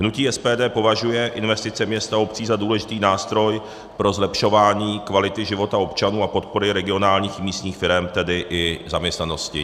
Hnutí SPD považuje investice měst a obcí za důležitý nástroj pro zlepšování kvality života občanů a podpory regionálních místních firem, tedy i zaměstnanosti.